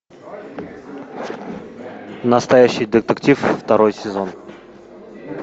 настоящий детектив второй сезон